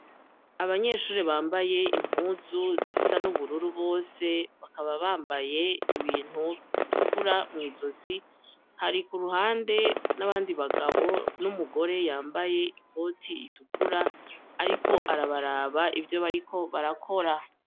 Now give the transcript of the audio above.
Abanyeshuri bambaye impuzu zisa n'ubururu bose bakaba bambaye ibintu bitukura mw'izozi hari ku ruhande n'abandi bagabo n'umugore yambaye ikoti itukura, ariko arabaraba ivyo bariko barakora.